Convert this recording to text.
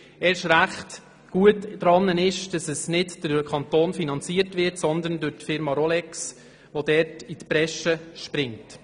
Erst recht gut ist, dass der Raum nicht durch den Kanton, sondern durch die Firma Rolex finanziert wird, die dort in die Bresche springt.